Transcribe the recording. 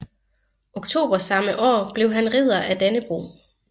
Oktober samme år blev han Ridder af Dannebrog